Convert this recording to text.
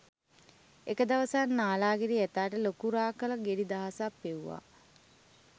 එක දවසක් නාලාගිරි ඇතාට ලොකු රා කළ ගෙඩි දහසයක් පෙව්වා